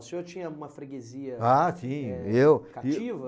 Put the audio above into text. O senhor tinha uma freguesia... Ah tinha, eu... Cativa?